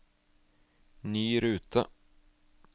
ny rute